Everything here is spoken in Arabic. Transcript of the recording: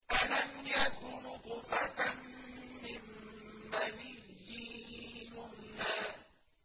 أَلَمْ يَكُ نُطْفَةً مِّن مَّنِيٍّ يُمْنَىٰ